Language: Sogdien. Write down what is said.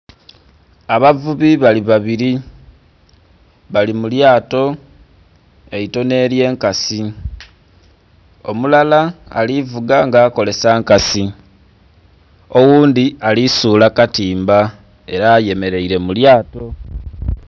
Abavubi bali babiri bali mu lyato eitono ely'enkasi omulala ali vuga nga akolesa nkasi oghundhi alisuula katimba era ayemeleire mu lyato.